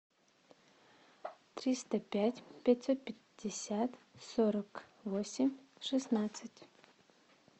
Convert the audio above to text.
триста пять пятьсот пятьдесят сорок восемь шестнадцать